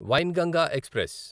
Wainganga express